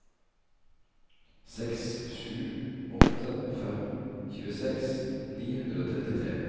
seks sju åtte fem tjueseks ni hundre og trettitre